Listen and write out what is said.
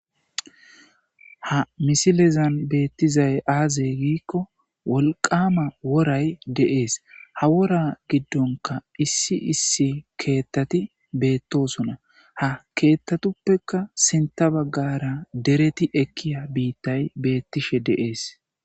ha misilezan beettizay aazey giikko wolqama woray de'ees ha wora giddonka issi issi keettati beettosona ha keettatuppeka sinta baggara dereti ekkiya biittay beettishe deees